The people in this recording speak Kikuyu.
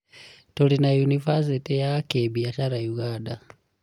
Turĩ Na yunibacĩtĩ ya kibiacara Ũganda.